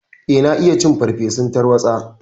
Eh, na iya cin farfesun tarwaɗa.